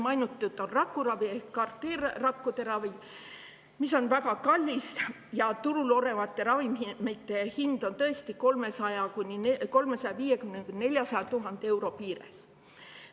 Mainitud on rakuravi ehk CAR-T rakkude ravi, mis on väga kallis: turul olevate ravimite hind jääb 350 000 – 400 000 euro piiresse.